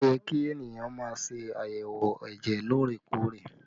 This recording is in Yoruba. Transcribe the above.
Ó yẹ kí ènìyàn má ṣe àyẹ̀wò ẹ̀jẹ̀ lóòrè-kóòrè